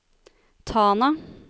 Tana